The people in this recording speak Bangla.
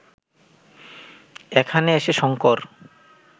এখানে এসে শঙ্কর